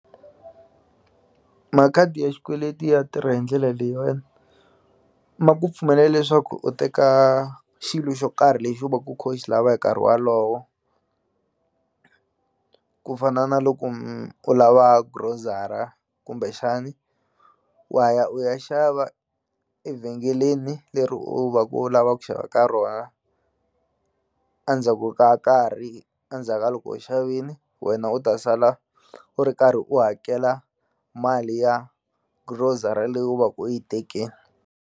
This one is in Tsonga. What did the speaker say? Makhadi ya xikweleti ya tirha hi ndlela leyiwani ma ku pfumelela leswaku u teka xilo xo karhi lexi u va ku u kho u xi lava hi nkarhi walowo ku fana na loko u lava grocery-a kumbexani wa ya u ya xava evhengeleni leri u va ku u lava ku xava ka rona andzhaku ka nkarhi andzhaka loko u xavini wena u ta sala u ri karhi u hakela mali ya grocery leyi u va ku u yi tekini.